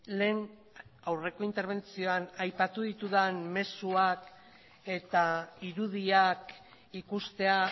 lehen aurreko interbentzioan aipatu ditudan mezuak eta irudiak ikustea